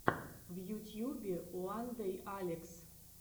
в ютьюбе уандэйалекс